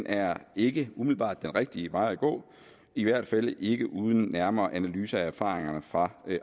er ikke umiddelbart den rigtige vej at gå i hvert fald ikke uden nærmere analyse af erfaringerne fra